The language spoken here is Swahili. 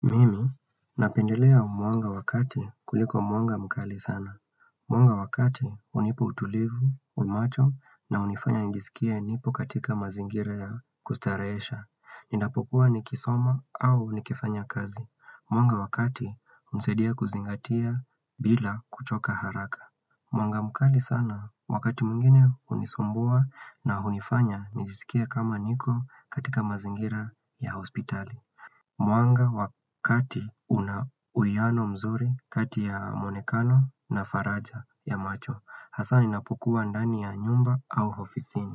Mimi napendelea mwanga wa kati kuliko mwanga mkali sana. Mwanga wakati hunipa utulivu wa macho na hunifanya nijisikie nipo katika mazingira ya kustarehesha. Ninapokuwa nikisoma au nikifanya kazi. Mwanga wakati hunisaidia kuzingatia bila kuchoka haraka. Mwanga mkali sana wakati mwingine hunisumbua na hunifanya nijisikie kama niko katika mazingira ya hospitali. Mwanga wa kati una uwiano mzuri kati ya muonekano na faraja ya macho Hasa ninapokuwa ndani ya nyumba au ofisini.